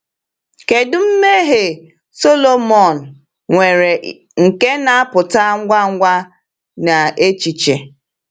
Kedu mmehie Sọlọmọn nwere nke na-apụta ngwa ngwa n’echiche?